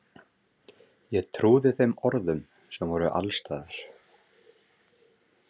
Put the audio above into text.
Ég trúði þeim orðum sem voru alls staðar.